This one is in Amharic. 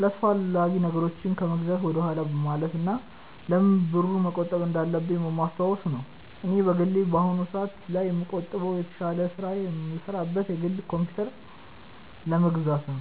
አላስፈላጊ ነገሮችን ከመግዛት ወደኋላ በማለት እና ለምን ብሩን መቆጠብ እንዳለብኝ በማስታወስ ነው። እኔ በግሌ በአሁኑ ሰአት ላይ የምቆጥበው የተሻለ ስራ የምሰራበትን የግል ኮምፕዩተር ለመግዛት ነው።